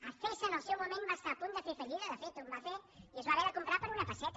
acesa en el seu moment va estar a punt de fer fallida de fet en va fer i es va haver de comprar per una pesseta